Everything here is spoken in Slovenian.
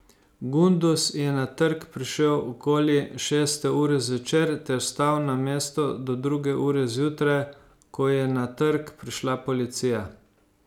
Gunduz je na trg prišel okoli šeste ure zvečer ter stal na mesto do druge ure zjutraj, ko je na trg prišla policija.